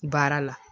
Baara la